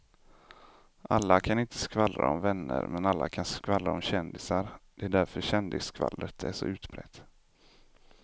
Alla kan inte skvallra om vänner men alla kan skvallra om kändisar, det är därför kändisskvallret är så utbrett.